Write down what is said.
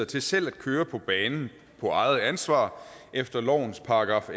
til selv at køre på banen på eget ansvar efter lovens §